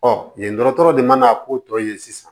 yen dɔgɔtɔrɔ de mana ko tɔ tɔ ye sisan